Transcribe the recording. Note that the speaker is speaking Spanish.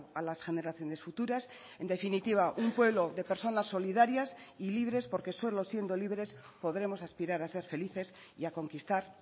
a las generaciones futuras en definitiva un pueblo de personas solidarias y libres porque solo siendo libres podremos aspirar a ser felices y a conquistar